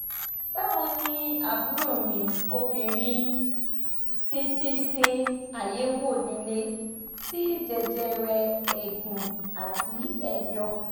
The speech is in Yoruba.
bawoni aburo mi obinrin sese se ayewo lile ti jejere eegun ati edo